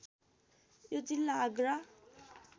यो जिल्ला आगरा